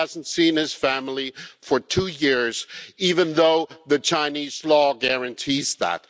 He hasn't seen his family for two years, even though Chinese law guarantees that.